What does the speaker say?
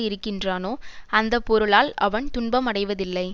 இருக்கின்றானோ அந்தந்த பொருளால் அவன் துன்பம் அடைவதில்லை